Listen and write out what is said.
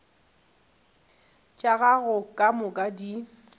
tša gago ka moka di